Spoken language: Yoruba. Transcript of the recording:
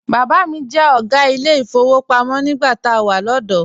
Bàbá mi jẹ́ ọ̀gá ilé ìfowópamọ́ nígbà tá a wà lọ́dọ̀ọ́.